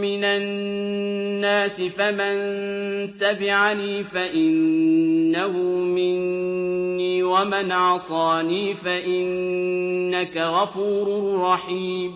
مِّنَ النَّاسِ ۖ فَمَن تَبِعَنِي فَإِنَّهُ مِنِّي ۖ وَمَنْ عَصَانِي فَإِنَّكَ غَفُورٌ رَّحِيمٌ